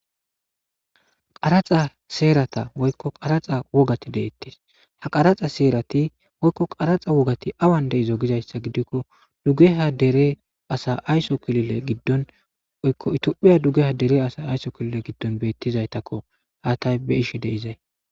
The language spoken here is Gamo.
Qraxa seerata woykko qaraxa wogati deettes ha qaraxa seerati woykko qaraxa wogati awan deizo gizayssa gidikko duggeha dere asa ayso kilile giddon yoitiophiya duggeha dere asa ayso kilile giddon beettizaytakko haatay beishe deizay.